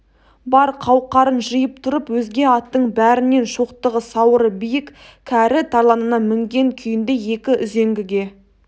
бар қауқарын жиып тұрып өзге аттың бәрінен шоқтығы сауыры биік кәрі тарланына мінген күйінде екі үзеңгіге